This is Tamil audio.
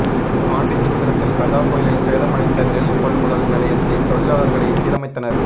பாண்டிசத்திரத்தில் கஜா புயலில் சேதமடைந்த நெல் கொள்முதல் நிலையத்தை தொழிலாளர்களே சீரமைத்தனர்